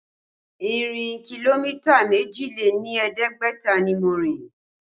Ìrìn kìlómítà méjì lé ní ẹ̀ẹ́dẹ́gbẹ̀ta ni mo rìn